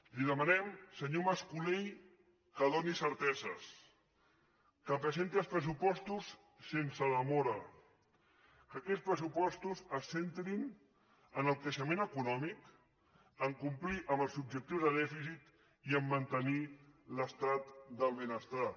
li demanem senyor mas colell que doni certeses que presenti els pressupostos sense demora que aquests pressupostos es centrin en el creixement econòmic a complir amb els objectius de dèficit i a mantenir l’estat del benestar